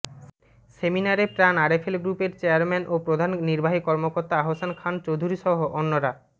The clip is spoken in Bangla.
সেমিনারে প্রাণ আরএফএল গ্রুপের চেয়ারম্যান ও প্রধান নির্বাহী কর্মকর্তা আহসান খান চৌধুরীসহ অন্যরা